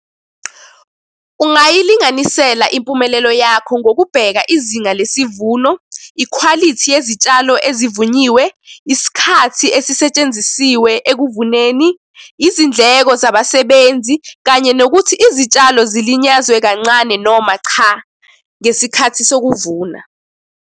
Ungayilinganisela impumelelo yakho ngokubheka izinga lesivuno, ikhwalithi yezitshalo ezivunyiwe, isikhathi esisetshenzisiwe ekuvuneni, izindleko zabasebenzi, kanye nokuthi izitshalo zilinyazwe kancane noma cha, ngesikhathi sokuvuna.